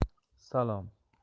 салам